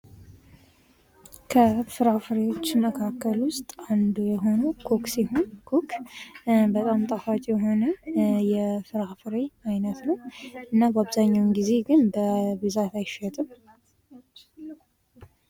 ከፍራፍሬዎች መካከል ውስጥ አንዱ የሆነው ኮክ ሲሆን ኮክ በጣም ጣፋጭ የሆነ የፍራፍሬ አይነት ነው። እና በአብዛኛውን ጊዜ ግን በብዛት አይሸጥም።